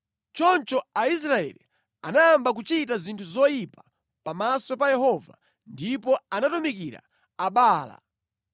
Choncho Aisraeli anayamba kuchita zinthu zoyipa pamaso pa Yehova ndipo anatumikira Abaala.